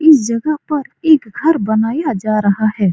इस जगह पर एक घर बनाया जा रहा है।